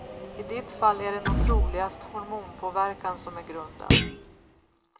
I ditt fall är det nog troligast hormonpåverkan som är grunden.